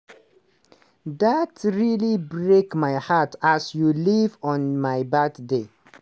dat really break my heart as you leave on my birthday.